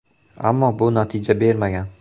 Ammo bu natija bermagan.